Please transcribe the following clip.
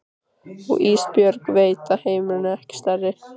Og Ísbjörg veit að heimurinn er ekki stærri.